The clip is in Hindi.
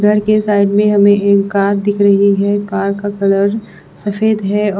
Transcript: घर के साइड में हमें एक कार दिख रही है कार का कलर सफेद है।